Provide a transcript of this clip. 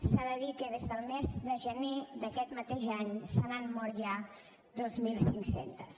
s’ha de dir que des del mes de gener d’aquest mateix any se n’han mort ja dos mil cinc cents